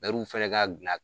fɛnɛ ka